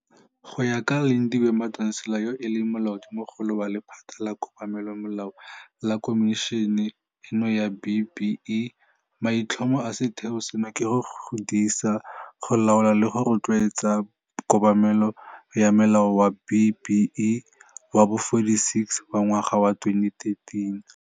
Go ya ka Lindiwe Madonsela yo e leng Molaodimogolo wa lephata la Kobamelomelao la Khomišene eno ya B-BBEE, maitlhomo a setheo seno ke go disa, go laola le go rotloetsa kobamelo ya Molao wa B-BBEE wa bo 46 wa ngwaga wa 2013.